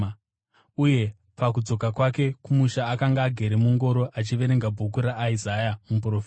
uye pakudzoka kwake kumusha akanga agere mungoro achiverenga bhuku raIsaya muprofita.